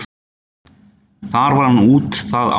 Þar var hann út það ár.